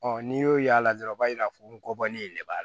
Ɔ n'i y'o y'a la dɔrɔn u b'a jira ko bɔlen de b'a la